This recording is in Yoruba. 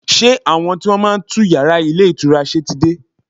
Ṣé àwọn tí wọ́n máa ń tún yàrá ilé ìtura ṣe ti dé?